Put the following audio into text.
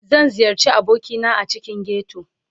Zan ziyarci abokina a cikin ghetto